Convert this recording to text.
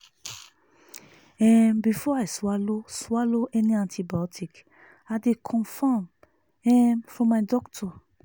um before i swallow swallow any antibiotic i dey confirm um from my doctor.